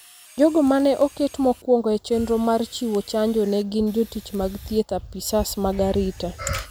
Jogo ma ne oket mokuongo e chenro mar chiwo chanjo ne gin jotich mag thieth, apisas mag arita,